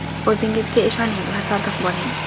O‘zingizga ishoning va sodiq bo‘ling.